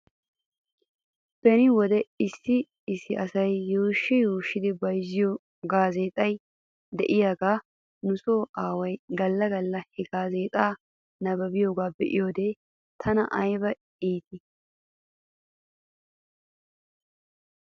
Beni wode issi issi asay yuushshi yuushshidi bayzziyoo gaazeexay de'iyaagaa nuso aaway galla galla he gaazeexaa nabbabiyaagaa be'iyoode tana ayba iittii.